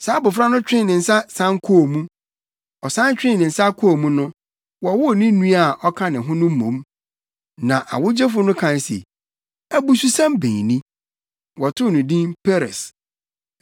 Saa abofra no twee ne nsa san kɔɔ mu. Ɔsan twee ne nsa kɔɔ mu no, wɔwoo ne nua a ɔka ne ho no mmom. Na ɔwogyefo no kae se, “Abususɛm bɛn ni!” Wɔtoo no din Peres.